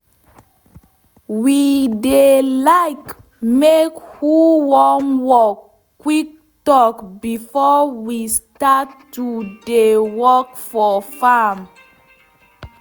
we dey like make who wan work quick talk before we start to dey work for farm